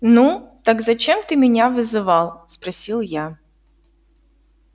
ну так зачем ты меня вызывал спросил я